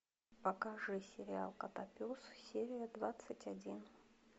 покажи сериал котопес серия двадцать один